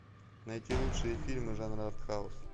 найти лучшие фильмы жанра артхаус